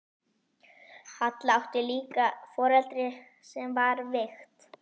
Halla átti líka foreldri sem var veikt.